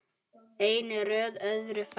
Einn er þó öðrum fremri.